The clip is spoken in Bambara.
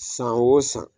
San o san